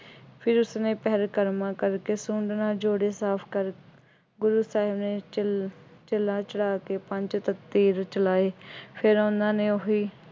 ਫਿਰ ਉਸਨੇ ਪਹਿਲਕਰਮਾਂ ਕਰਕੇ ਸੁੰਡ ਨਾਲ ਜੋੜੇ ਸਾਫ ਕਰ ਗੁਰੂ ਸਾਹਿਬ ਨੇ ਛੱਲ ਛੱਲਾਂ ਚੜ੍ਹਾ ਕੇ ਪੰਜ ਤਖਤੀ ਵਿੱਚ ਲਾਏ। ਫੇਰ ਉਹਨਾ ਨੇ ਉਹੀ